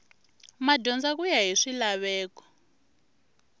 madyondza ku ya hi swilaveko